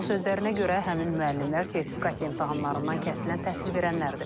Onun sözlərinə görə, həmin müəllimlər sertifikasiya imtahanlarından kəsilən təhsil verənlərdir.